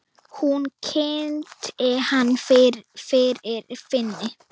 Hún kynnti hana fyrir Finni.